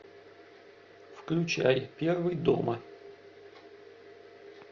включай первый дома